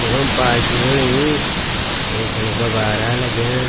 यखम पार्टी होणी एंच फण गुब्बारा लग्यां।